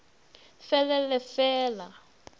fe le le fe la